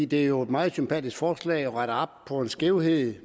det er jo et meget sympatisk forslag som retter op på den skævhed